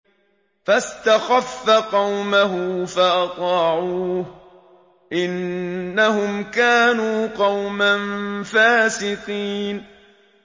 فَاسْتَخَفَّ قَوْمَهُ فَأَطَاعُوهُ ۚ إِنَّهُمْ كَانُوا قَوْمًا فَاسِقِينَ